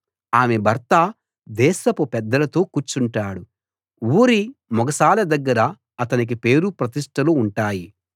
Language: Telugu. ఆమె భర్త దేశపు పెద్దలతో కూర్చుంటాడు ఊరి మొగసాల దగ్గర అతనికి పేరుప్రతిష్టలు ఉంటాయి